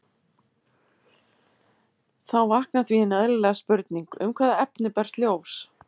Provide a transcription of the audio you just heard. Þá vaknar því hin eðlilega spurning: Um hvaða efni berst ljós?